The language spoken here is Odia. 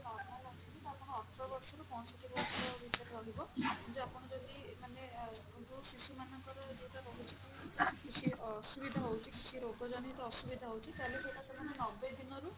normal ଅଛନ୍ତି ତ ଆପଣ ଅଠର ବର୍ଷରୁ ପାଞ୍ଚଷଠି ବର୍ଷ ଭିତରେ ରହିବ ଯଦି ଆପଣ ଯଦି ମାନେ ଯଉ ଶିଶୁମାନଙ୍କର ଯୋଉଟା ରହୁଛି କି କିଛି ଅସୁବିଧା ହଉଛି କିଛି ରୋଗଜନିତ ଅସୁବିଧା ହଉଛି ତାହେଲ ଆପଣ ନବେ ଦିନରୁ